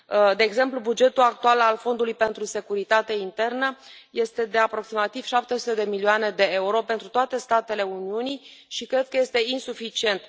De exemplu, bugetul actual al Fondului pentru securitate internă este de aproximativ 700 de milioane de euro pentru toate statele Uniunii și cred că este insuficient.